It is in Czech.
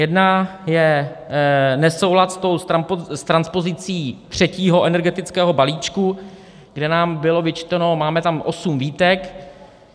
Jedna je nesoulad s transpozicí třetího energetického balíčku, kde nám bylo vyčteno - máme tam osm výtek.